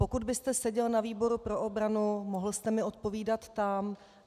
Pokud byste seděl na výboru pro obranu, mohl jste mi odpovídat tam.